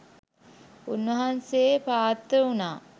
උන්වහන්සේ පාත්‍ර වුණා.